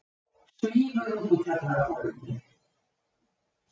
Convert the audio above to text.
Svífur út úr kjallaraholunni.